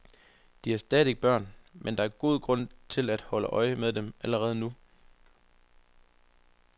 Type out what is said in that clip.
De er stadig børn, men der er god grund til at holde øje med dem allerede nu.